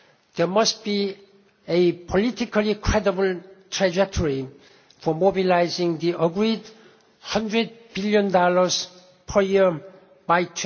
Paris. There must be a politically credible trajectory for mobilising the agreed USD 100 billion per year